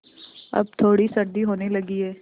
अब थोड़ी सर्दी होने लगी है